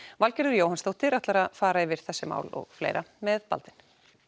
Valgerður Jóhannsdóttir ætlar að fara yfir þessi mál með Baldvin